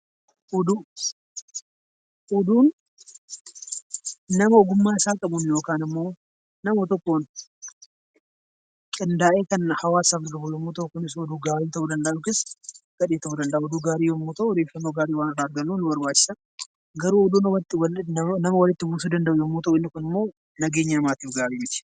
Oduu Oduun nama ogummaa isaa qabuun yookaan immoo nama tokkoon qindaa'ee hawaasaaf kan oolu yoo ta'u, kunis immoo dhugaa ta'uu danda'a yookaan immoo soba ta'uu danda'a odeeffannoo gaarii waan irraa argannuuf nu barbaachisa. Garuu nama walitti buusuu danda'u isaan kun immoo nageenya namaatiif gaarii miti.